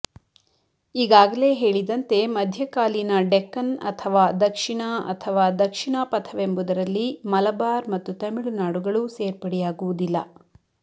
ಈಗಾಗಲೇ ಹೇಳಿದಂತೆ ಮಧ್ಯಕಾಲೀನ ಡೆಕ್ಕನ್ ಅಥವ ದಕ್ಷಿಣ ಅಥವ ದಕ್ಷಿಣಾಪಥವೆಂಬುದರಲ್ಲಿ ಮಲಬಾರ್ ಮತ್ತು ತಮಳುನಾಡುಗಳು ಸೇರ್ಪಡೆಯಾಗುವುದಿಲ್ಲ